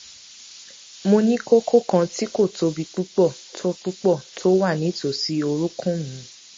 mo ní kókó kan tí kò tóbi púpọ tó púpọ tó wà nítòsí orúnkún mi